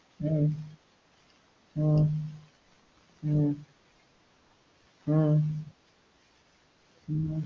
ஹம் ஹம் ஹம் ஹம் ஹம்